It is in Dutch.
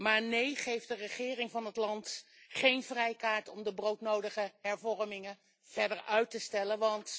Maar nee, geef de regering van het land geen vrijkaart om de broodnodige hervormingen verder uit te stellen.